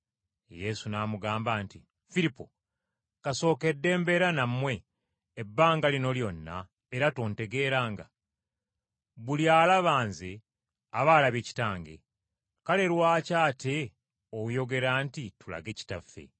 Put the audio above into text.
Yesu n’amugamba nti, “Firipo, kasookedde mbeera nammwe ebbanga lino lyonna era tontegeeranga? Buli alaba Nze aba alabye Kitange! Kale lwaki ate oyogera nti, ‘Tulage Kitaffe?’